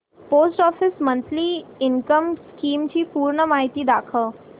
post office monthly income scheme ची पूर्ण माहिती दाखव